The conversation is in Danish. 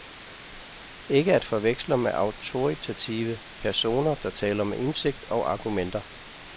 Ikke at forveksle med autoritative personer, der taler med indsigt og argumenter.